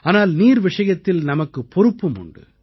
ஆனால் நீர் விஷயத்தில் நமக்கு பொறுப்பும் உண்டு